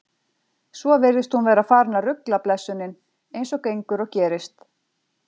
Svo virðist hún vera farin að rugla blessunin, eins og gengur og gerist.